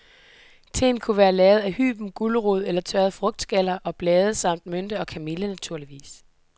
Teen kunne være lavet af hyben, gulerod eller tørrede frugtskaller og blade, samt mynte og kamille, naturligvis.